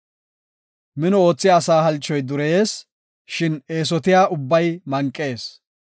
Mino oothiya asa halchoy dureyees; shin eesotiya ubbay manqees.